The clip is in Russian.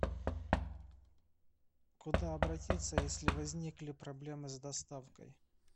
куда обратиться если возникли проблемы с доставкой